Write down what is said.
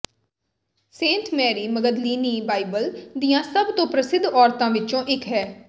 Saint Mary Magdalene Bible ਦੀਆਂ ਸਭ ਤੋਂ ਪ੍ਰਸਿੱਧ ਔਰਤਾਂ ਵਿੱਚੋਂ ਇੱਕ ਹੈ